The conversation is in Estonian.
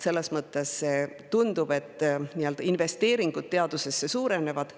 Selles mõttes tundub, et investeeringud teadusesse suurenevad.